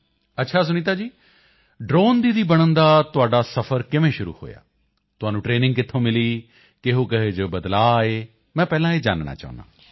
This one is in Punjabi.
ਅੱਛਾ ਸੁਨੀਤਾ ਜੀ ਇਹ ਡ੍ਰੋਨ ਦੀਦੀ ਬਣਨ ਦਾ ਤੁਹਾਡਾ ਸਫਰ ਕਿਵੇਂ ਸ਼ੁਰੂ ਹੋਇਆ ਤੁਹਾਨੂੰ ਟਰੇਨਿੰਗ ਕਿੱਥੋਂ ਮਿਲੀ ਕਿਹੋਕਿਹੋ ਜਿਹੇ ਬਦਲਾਓ ਆਏ ਮੈਂ ਪਹਿਲਾਂ ਇਹ ਜਾਨਣਾ ਹੈ